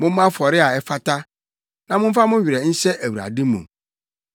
Mommɔ afɔre a ɛfata na momfa mo werɛ nhyɛ Awurade mu.